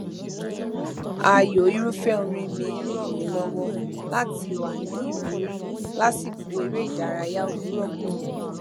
ààyò irúfẹ orin mi n ràn mí lọwọ láti wà ní ìwúrí lásìkò eré ìdárayá òwúrọ kùtùkùtù